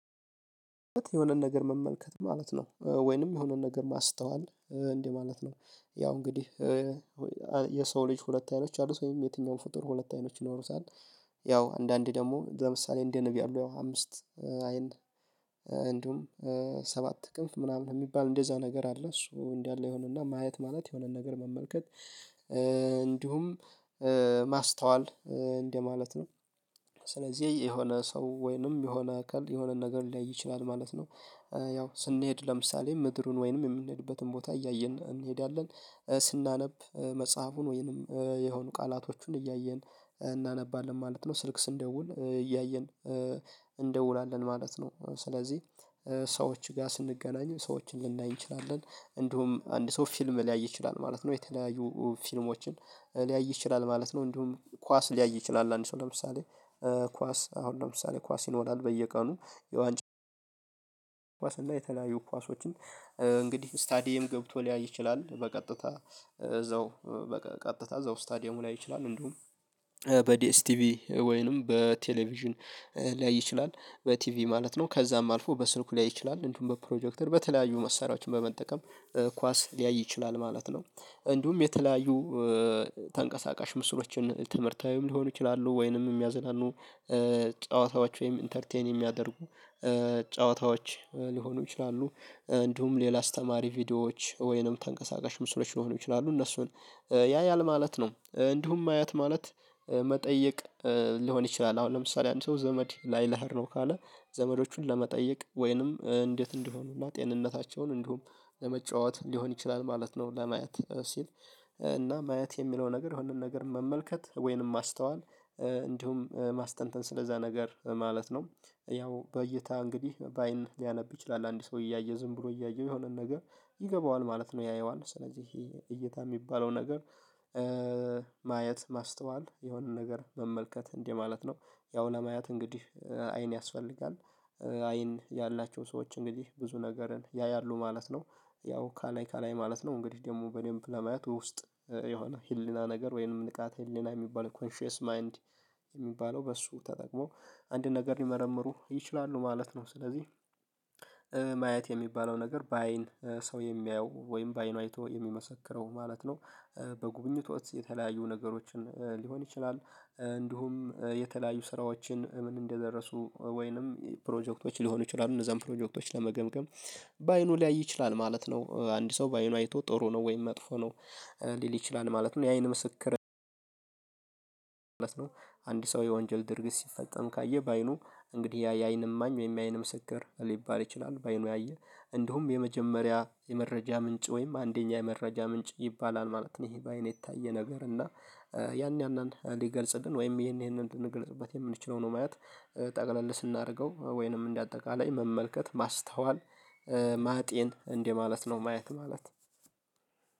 የሆነን ነገር መመልከት ማለት ነው ወይንም የሆነን ነገር ማስተዋል እንዴ ማለት ነው። ያው እንግዲህ የሰው ልጅ ሁለት አይኖች አሉት ወይም የትኛው ፍጡር ሁለት አይኖች ይኖሩታል። ያው አንዳንዴ ደግሞ ለምሳሌ እንዲህ ነብ ያሉ አምስት አይን እንዲሁም ሰባት ክንፍ ምናምን የሚባል እንደዛ ነገር አለ። እሱ እንዲህ አለ የሆነና ማየት ማለት የሆነን ነገር መመልከት እንዲሁም ማስተዋል እንደማለት ነው። ስለዚህ የሆነ ሰው ወይንም የሆነ አካል የሆነ ነገር ሊያይ ይችላል ማለት ነው። ያው ስንሄድ ለምሳሌ ምድሩን ወይንም የምንሄድበትን ቦታ እያየን እንሄዳለን ስናነብ መጽሐፉን ወይንም የሆኑ ቃላቶቹን እያየን እናነባለን ማለት ነው ስልክ ስንደውል እያየን እንደውላለን ማለት ነው። ስለዚህ ሰዎች ጋር ስንገናኝ ሰዎችን ልንላይ እንችላለን እንዲሁም አንድ ሰው ፊልም ሊያይ ይችላል ማለት ነው። የተለያዩ ፊልሞችን ሊያይ ይችላል ማለት ነው። እንዲሁም ኳስ ሊያይ ይችላል አንድ ሰው ለምሳሌ ኳስ አሁን ለምሳሌ ኳስ ይኖራል። በየቀኑ የዋንጫ ላይ የተለያዩ ኳሶችን እንግዲህ ስታዲየም ገብቶ ሊያይ ይችላል በቀጥታ እዛው በቀጥታ እዛው ስታዲየሙ ሊያይ ይችላል እንደውም በዲኤስቲቪ ወይንም በቴሌቪዥን ሊያይ ይችላል በቲቪ ማለት ነው። ከዛም አልፎ በስልኩ ሊያይ ይችላል እንዲሁም በፕሮጀክተር በተለያዩ መሳሪያዎችን በመጠቀም ኳስ ሊያይ ይችላል ማለት ነው። እንዲሁም የተለያዩ ተንቀሳቃሽ ምስሮችን ትምህርታዊም ሊሆኑ ይችላሉ ወይንም የሚያዝናኑ ጨዋታዎች ወይም ኢንተርቴይን የሚያደርጉ ጨዋታዎች ሊሆኑ ይችላሉ። እንዲሁም ሌላ አስተማሪ ቪዲዮዎች ወይንም ተንቀሳቃሽ ምስሎች ሊሆኑ ይችላሉ እነሱን ያያል ማለት ነው። እንዲሁም ማየት ማለት መጠየቅ ሊሆን ይችላል። አሁን ለምሳሌ አንድ ሰው ዘመድ ላይ ልሄድ ነው ካለ ዘመዶቹን ለመጠየቅ ወይንም እንዴት እንዲሆኑና ጤንነታቸውን እንዲሁም ለመጫወት ሊሆን ይችላል ማለት ነው። ለማየት ሲል እና ማየት የሚለው ነገር የሆነን ነገር መመልከት ወይንም ማስተዋል እንዲሁም ማስተንተን ስለዛ ነገር ማለት ነው። ያው በይታ እንግዲህ በአይን ሊያነብ ይችላል አንድ ሰው እያየ ዝም ብሎ እያየው የሆነን ነገር ይገባዋል ማለት ነው። ያየዋል ስለዚህ ይሄ እይታ የሚባለው ነገር ማየት ማስተዋል የሆነን ነገር መመልከት እንዲህ ማለት ነው። ያው ለማየት እንግዲህ አይን ያስፈልጋል አይን ያላቸው ሰዎች እንግዲህ ብዙ ነገርን ያያሉ ማለት ነው። ያው ካላይ ካላይ ማለት ነው እንግዲህ ደግሞ በኔም ለማየት ውስጥ የሆነ ህሊና ነገር ወይንም ንቃት ህሊና የሚባል ኮንሺየስ ማይንድ የሚባለው በሱ ተጠቅሞ አንድ ነገር ሊመረምሩ ይችላሉ ማለት ነው። ስለዚህ ማየት የሚባለው ነገር በአይን ሰው የሚያየው ወይም በአይኑ አይቶ የሚመሰክረው ማለት ነው። በጉብኝቶች የተለያዩ ነገሮችን ሊሆን ይችላል እንዲሁም የተለያዩ ስራዎችን ምን እንደደረሱ ወይንም ፕሮጀክቶች ሊሆኑ ይችላሉ እነዛን ፕሮጀክቶች ለመገምገም በአይኑ ሊያይ ይችላል ማለት ነው። አንድ ሰው በአይኑ አይቶ ጥሩ ነው ወይም መጥፎ ነው ሊል ይችላል ማለት ነው። የአይን ምስክር ማለት ነው። አንድ ሰው የወንጀል ድርጊት ሲፈጸም ካየ በአይኑ እንግዲህ ያ የአይን እማኝ ወይም የአይን ምስክር ሊባል ይችላል በአይኑ ያየ እንደውም የመጀመሪያ የመረጃ ምንጭ ወይም አንደኛ የመረጃ ምንጭ ይባላል ማለት ነው። ይሄ በአይን የታየ ነገር እና ያን ያንን ሊገልጽልን ወይም ይሄንን ልንገልጽበት የምንችለው ነው ማየት ጠቅለል ስናደርገው ወይንም እንደ አጠቃላይ መመልከት ማስተዋል ማጤን እንዲህ ማለት ነው። ማየት ማለት